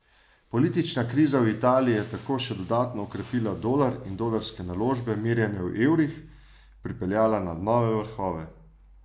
Politična kriza v Italiji je tako še dodatno okrepila dolar in dolarske naložbe, merjene v evrih, pripeljala na nove vrhove.